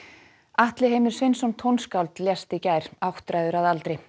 Atli Heimir Sveinsson tónskáld lést í gær áttræður að aldri